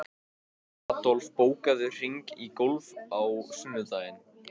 Í þeim brast líkt og í muldu gleri.